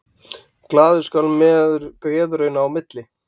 Glaður skal maður geðrauna í milli.